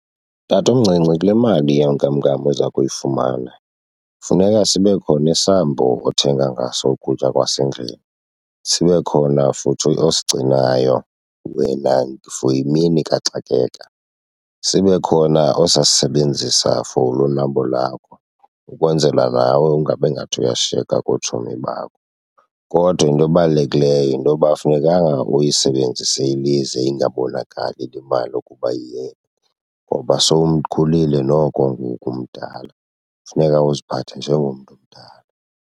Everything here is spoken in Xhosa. Tatomncinci, kule mali yenkamnkam oza kuyifumana funeka sibe khona isambu othenga ngaso ukutya kwasendlini, sibe khona futhi osigcinayo wena for imini kaxakeka, sibe khona ozasisebenzisa for ulonwabo lakho ukwenzela nawe ungabingathi uyashiyeka kootshomi bakho. Kodwa into ebalulekileyo yinto yoba afunekanga uyisebenzise ilize ingabonakali le mali ukuba iyephi ngoba sowumkhulile noko ngoku umdala, funeka uziphathe njengomntu omdala.